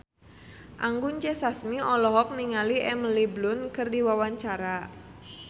Anggun C. Sasmi olohok ningali Emily Blunt keur diwawancara